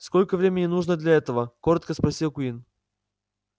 сколько времени нужно для этого коротко спросил куинн